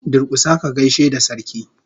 Durkusa ka gaishe da Sarki!